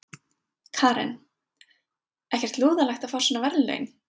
Karen: Ekkert lúðalegt að fá svona verðlaun?